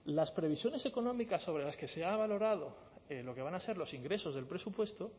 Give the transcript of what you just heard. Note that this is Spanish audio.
las previsiones económicas sobre las que se ha valorado lo que van a ser los ingresos del presupuesto